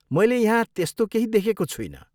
मैले यहाँ त्यस्तो केही देखेको छुइनँ।